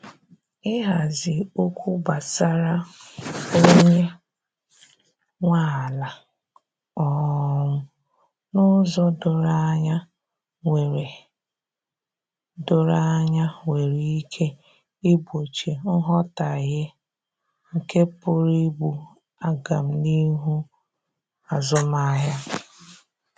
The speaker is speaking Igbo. Ihazi okwu gbasara onye nwe ala um n'ụzọ doro anya nwere doro anya nwere ike igbochi nghọtahie nke pụrụ igbu agamnihu azụmahịa.